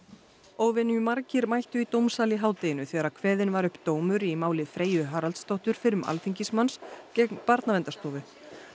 óvenjumargir mættu í dómsal í hádeginu þegar kveðinn var upp dómur í máli Freyju Haraldsdóttur fyrrum alþingismanns gegn Barnaverndarstofu